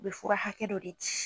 U bi fura hakɛ dɔ de di